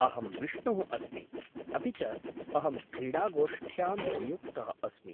अहं बिष्णुः अस्मि, अपि च अहं क्रीडागोष्ठ्यां नियुक्तः अस्मि।